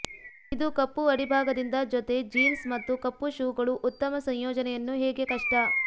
ಇದು ಕಪ್ಪು ಅಡಿಭಾಗದಿಂದ ಜೊತೆ ಜೀನ್ಸ್ ಮತ್ತು ಕಪ್ಪು ಶೂಗಳು ಉತ್ತಮ ಸಂಯೋಜನೆಯನ್ನು ಹೇಗೆ ಕಷ್ಟ